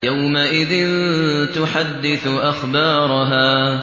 يَوْمَئِذٍ تُحَدِّثُ أَخْبَارَهَا